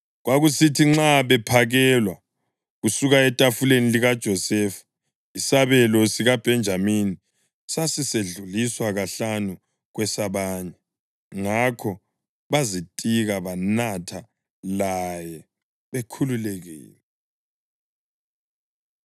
Kwakusithi nxa bephakelwa kusuka etafuleni likaJosefa, isabelo sikaBhenjamini sasisedluliswa kahlanu kwesabanye. Ngakho bazitika banatha laye bekhululekile.